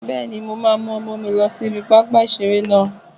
Bẹ́ẹ̀ni, mo máa mú ọmọ mi lọ sí ibi pápá ìseré náà